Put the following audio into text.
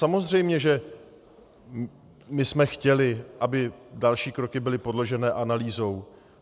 Samozřejmě že my jsme chtěli, aby další kroky byly podložené analýzou.